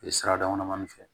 Sira dama damanin fɛ